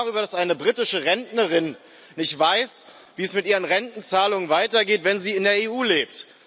Wir reden darüber, dass eine britische Rentnerin nicht weiß, wie es mit ihren Rentenzahlungen weitergeht, wenn sie in der EU lebt.